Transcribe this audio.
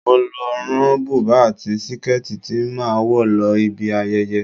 Mo lọ rán bùbá àti síkẹ́ẹ̀tì tí màá wọ̀ lọ ibi ayẹyẹ.